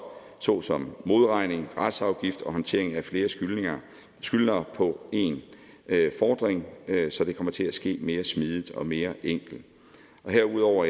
såsom modregning retsafgifter og håndtering af flere skyldnere skyldnere på en fordring så det kommer til at ske mere smidig og mere enkelt herudover